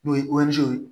N'o ye ye